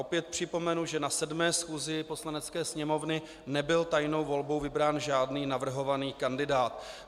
Opět připomenu, že na 7. schůzi Poslanecké sněmovny nebyl tajnou volbou vybrán žádný navrhovaný kandidát.